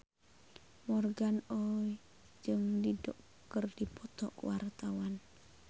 Morgan Oey jeung Dido keur dipoto ku wartawan